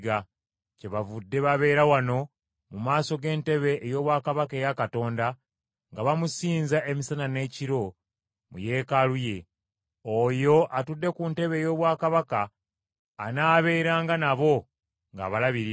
Kyebavudde “babeera wano mu maaso g’entebe ey’obwakabaka eya Katonda nga bamusinza emisana n’ekiro mu Yeekaalu ye. Oyo atudde ku ntebe ey’obwakabaka, anaaberanga nabo ng’abalabirira.